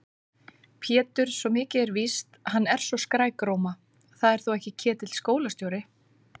Pétur, svo mikið er víst, hann er svo skrækróma. það er þó ekki Ketill skólastjóri?